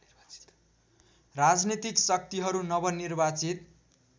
राजनीतिक शक्तिहरू नवनिर्वाचित